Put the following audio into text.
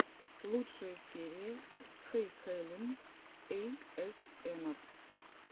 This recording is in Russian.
лучшая серия хэйхелен эйэсэмар